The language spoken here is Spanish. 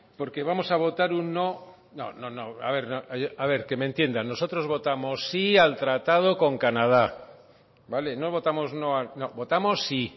porque vamos a votar un no no no a ver que me entiendan nosotros votamos sí al tratado con canadá vale no votamos no votamos sí